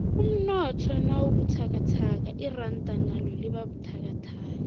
umnotho nawubuthakathaka iranda nalo libabuthakathaka